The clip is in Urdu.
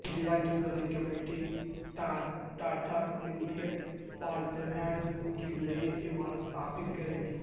انڈیا کی بڑی کپمنی ٹاٹا انڈین پارلیمان کی نئی عمارت تعمیر کرے گی